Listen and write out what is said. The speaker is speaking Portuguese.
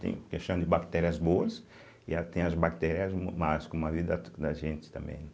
Tem questão de bactérias boas e a tem as bactérias más como a vida da gente também, né.